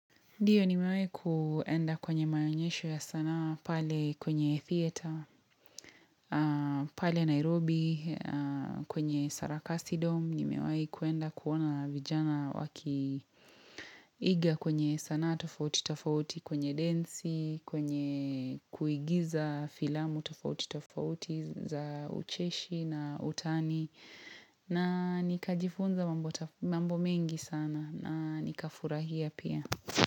Ndiyo nimewahi kuenda kwenye maonyesho ya sanaa, pale kwenye theater, pale Nairobi, kwenye sarakasi dom, nimewahi kuenda kuona vijana waki iga kwenye sanaa tofauti tofauti kwenye densi, kwenye kuigiza filamu tofauti tofauti za ucheshi na utani, na nikajifunza mambo mengi sana na nikafurahia pia.